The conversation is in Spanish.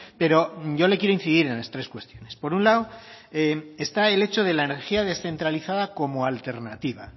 pero yo le quiero incidir en las tres cuestiones por un lado está el hecho de la energía descentralizada como alternativa